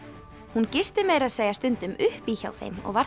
hún gisti meira að segja stundum upp í hjá þeim og var